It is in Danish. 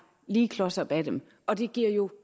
lige klos op af dem og det giver jo